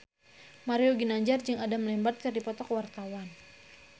Mario Ginanjar jeung Adam Lambert keur dipoto ku wartawan